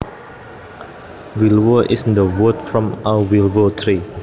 Willow is the wood from a willow tree